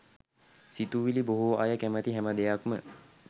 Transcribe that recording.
සිතුවිළි බොහෝ අය කැමති හැම දෙයක්ම